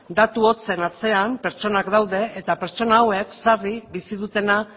datu hotzen atzean pertsonak daude eta pertsona hauek sarri bizi dutena